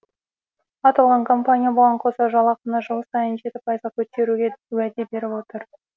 аталған компания бұған қоса жалақыны жыл сайын жеті пайызға көтеруге уәде беріп отыр